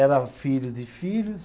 Era filhos e filhos.